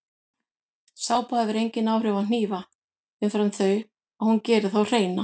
Sápa hefur engin áhrif á hnífa umfram þau að hún gerir þá hreina.